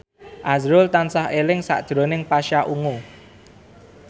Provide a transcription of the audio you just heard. azrul tansah eling sakjroning Pasha Ungu